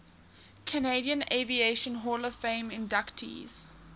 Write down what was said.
canadian aviation hall of fame inductees